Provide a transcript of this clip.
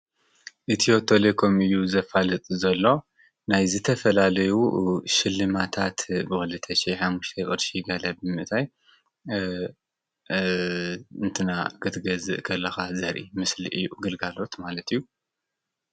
ኢትዮ ቴሌኮም እዪ ዘፋልጥ ዘሎ ናይ ዝተፈላለዩ ሽልማታት ብ 2005 ቅርሺ ማለት ብምእታይ ክንትና ክትገዝእ ከለኻ ዘርኢ ምስሊ እዪ ግልጋሎት ማለት እዪ ።